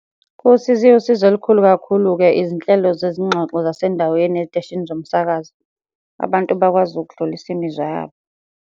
Usizo iwusizo olukhulu kakhulu-ke izinhlelo zezingxoxo zasendaweni ey'teshini zomsakazo. Abantu bakwazi ukudlulisa imizwa yabo.